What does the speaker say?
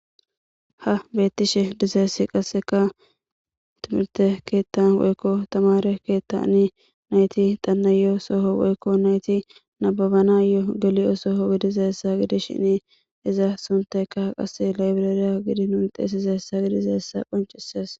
Ha beettishe dizeessi qasseka timirte keettan woykko tamare keettani nayti dannayo soho woykko nayti nababana yoo geli'o soho gidiza essa gidi shini iza sunteka qase laybireriya gidi nunte esiza hessa gidizeessa qoncisees